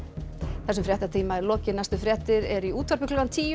þessum fréttatíma er lokið næstu fréttir eru í útvarpi klukkan tíu